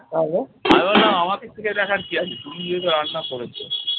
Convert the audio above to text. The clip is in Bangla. আমি বললাম আমাকে চেখে দেখার কি আছে তুমি নিজেই তো রান্না করেছ।